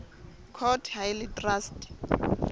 court ha e le traste